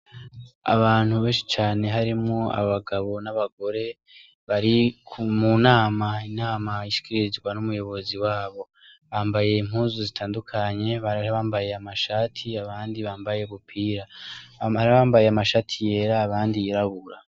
Abantu benshi cane, harimwo abagabo n'abagore bari mu nama. Inama ishikirizwa n'umuyobozi wabo. Bambaye impuzuu zitandukanye hama hari abambaye amashati abandi bambaye ubupira. hama hariyo abambaye amashati yera abandi yirabura.